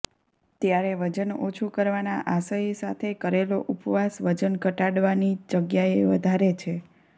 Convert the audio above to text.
ત્યારે વજન ઓછું કરવાના આશય સાથે કરેલો ઉપવાસ વજન ઘટાડવાની જગ્યાએ વધારે છે